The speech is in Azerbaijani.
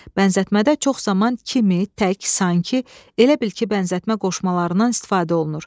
Bənzətmədə çox zaman kimi, tək, sanki, elə bil ki, bənzətmə qoşmalarından istifadə olunur.